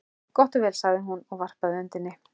Gott og vel, sagði hún, og varpaði öndinni.